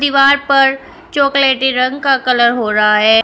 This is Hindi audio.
दीवार पर चॉकलेटी रंग का कलर हो रहा है।